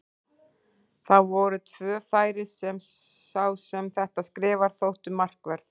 Það voru tvö færi sem sá sem þetta skrifar þóttu markverð.